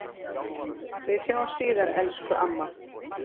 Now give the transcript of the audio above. Við sjáumst síðar, elsku amma.